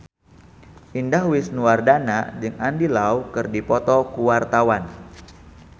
Indah Wisnuwardana jeung Andy Lau keur dipoto ku wartawan